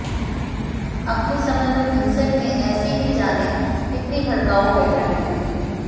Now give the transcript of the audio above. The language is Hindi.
अपने समय में विन्सेंट ने ऐसी ही जाने कितनी भड़काऊ हैडलाइन लिखी